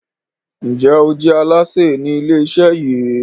Njé o je Alásè Ni ilé iṣẹ yí?